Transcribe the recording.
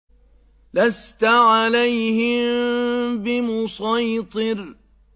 لَّسْتَ عَلَيْهِم بِمُصَيْطِرٍ